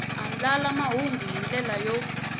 andlala mahungu hi ndlela yo